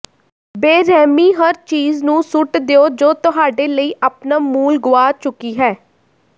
ਬੇਰਹਿਮੀ ਹਰ ਚੀਜ਼ ਨੂੰ ਸੁੱਟ ਦਿਓ ਜੋ ਤੁਹਾਡੇ ਲਈ ਆਪਣਾ ਮੁੱਲ ਗੁਆ ਚੁੱਕੀ ਹੈ